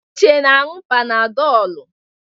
Uche na-anu Panadolụ.